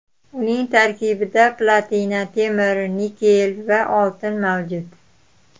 Uning tarkibida platina, temir, nikel va oltin mavjud.